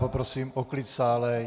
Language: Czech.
Poprosím o klid sále.